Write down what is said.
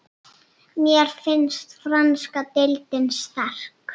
Mér finnst franska deildin sterk.